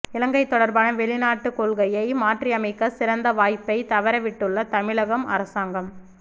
இலங்கை தொடர்பான வெளிநாட்டு கொள்கையை மாற்றியமைக்க சிறந்த வாய்ப்பை தவறவிட்டுள்ள தமிழகம் அரசாங்கம்